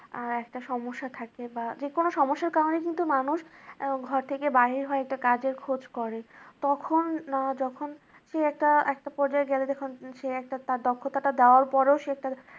আর একটা সমস্যা থাকে বা যে কোন সমস্যার কারণেই কিন্তু মানুষ ঘর থেকে বাহির হয় একটা কাজের খোঁজ করে কখন যখন সে একটা পর্যায়ে সে একটা তার দক্ষতা টা দেওয়ার পরেও তার